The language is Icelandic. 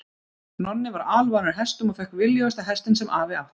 Nonni var alvanur hestum og fékk viljugasta hestinn sem afi átti.